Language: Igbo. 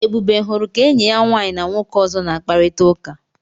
Ebube hụrụ ka enyi ya nwaanyị na nwoke ọzọ na-akparịta ụka.